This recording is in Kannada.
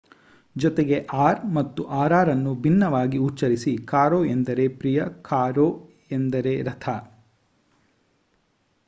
ಜೊತೆಗೆ r ಮತ್ತು rr ಅನ್ನು ಭಿನ್ನವಾಗಿ ಉಚ್ಚರಿಸಿ: caro ಎಂದರೆ ಪ್ರಿಯ, carro ಎಂದರೆ ರಥ